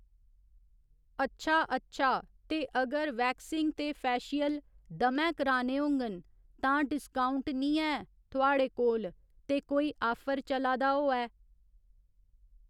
अच्छा अच्छा ते अगर वैक्सिंग ते फैशियल दमैं कराने होङन तां डिस्काउंट निं ऐ थुहाड़े कोल ते कोई आफर चला दा होऐ